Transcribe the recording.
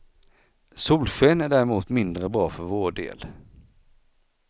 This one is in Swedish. Solsken är däremot mindre bra för vår del.